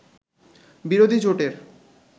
বিরোধী জোটের